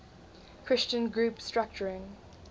christian group structuring